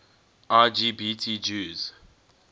lgbt jews